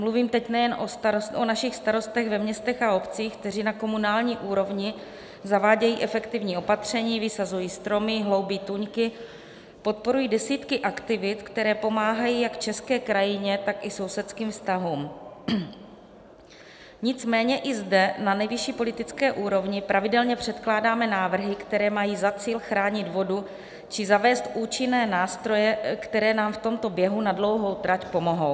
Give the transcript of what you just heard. Mluvím teď nejen o našich starostech ve městech a obcích, kteří na komunální úrovni zavádějí efektivní opatření, vysazují stromy, hloubí tůňky, podporují desítky aktivit, které pomáhají jak české krajině, tak i sousedským vztahům, nicméně i zde na nejvyšší politické úrovni pravidelně předkládáme návrhy, které mají za cíl chránit vodu či zavést účinné nástroje, které nám v tomto běhu na dlouhou trať pomohou.